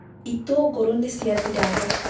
Itũngũrũ nĩ ciathira thoko